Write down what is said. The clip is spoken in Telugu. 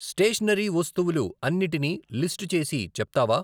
స్టేషనరీ వస్తువులు అన్నిటినీ లిస్టు చేసి చెప్తావా?